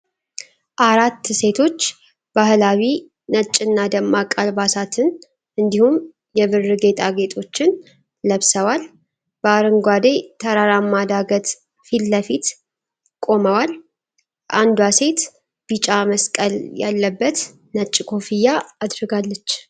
አራት ሴቶች ባህላዊ ነጭና ደማቅ አልባሳትን እንዲሁም የብር ጌጣጌጦችን ለብሰው፣ በአረንጓዴ ተራራማ ዳገት ፊት ለፊት ቆመዋል። አንዷ ሴት ቢጫ መስቀል ያለበት ነጭ ኮፍያ አድርጋለች።